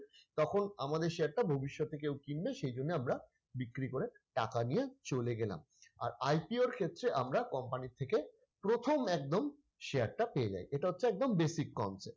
তখন আমাদের share টা ভবিষ্যতে কেউ কিনবে সেজন্য আমরা বিক্রি করে টাকা নিয়ে চলে গেলাম আর IPO র ক্ষেত্রে আমরা company থেকে প্রথম একদম share টা পেয়ে যায় এটা হচ্ছে একদম basic concept